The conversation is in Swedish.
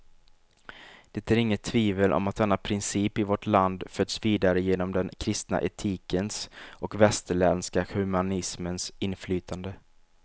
Det är inget tvivel om att denna princip i vårt land förts vidare genom den kristna etikens och västerländska humanismens inflytande.